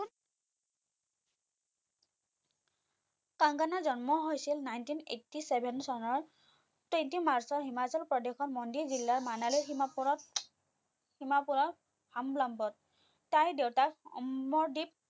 কংগনাৰ জন্ম হৈছিল nineteen eighty seven চনৰ twenty march ৰ হিমাচল প্ৰদেশৰ মন্দি জিলাৰ মানালীৰ সীমাপুৰত সীমাপুৰৰ হামলাম্বত তাই দেউতাক অমৰদ্বিপ